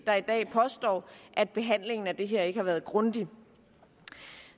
der i dag påstår at behandlingen af det her ikke har været grundig